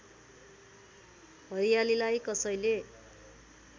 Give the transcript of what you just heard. हरियालीलाई कसैले